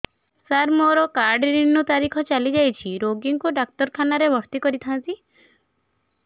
ସାର ମୋର card renew ତାରିଖ ଚାଲି ଯାଇଛି ରୋଗୀକୁ ଡାକ୍ତରଖାନା ରେ ଭର୍ତି କରିଥାନ୍ତି